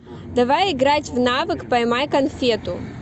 давай играть в навык поймай конфету